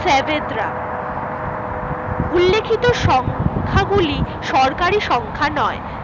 Savetra উল্লেখিত সংখ্যা গুলো সরকারি সংখ্যা নয়